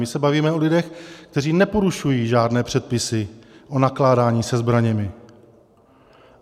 My se bavíme o lidech, kteří neporušují žádné předpisy o nakládání se zbraněmi.